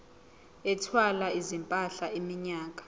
ethwala izimpahla iminyaka